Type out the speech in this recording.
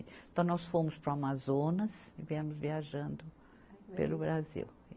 Então, nós fomos para o Amazonas e viemos viajando pelo Brasil.